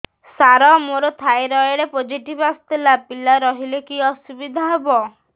ସାର ମୋର thyroid positive ଆସିଥିଲା ପିଲା ରହିଲେ କି ଅସୁବିଧା ହେବ